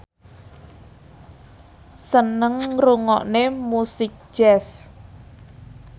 seneng ngrungokne musik jazz